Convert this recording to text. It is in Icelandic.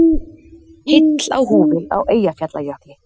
Heill á húfi á Eyjafjallajökli